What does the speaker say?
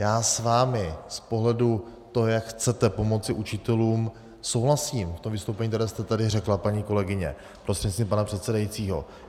Já s vámi z pohledu toho, jak chcete pomoci učitelům, souhlasím v tom vystoupení, které jste tady řekla, paní kolegyně prostřednictvím pana předsedajícího.